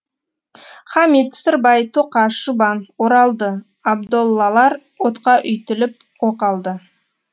хамит сырбай тоқаш жұбан оралды абдоллалар отқа үйтіліп о қалды